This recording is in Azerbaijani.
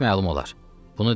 Bu saat məlum olar.